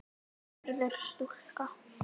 Verður stúlka.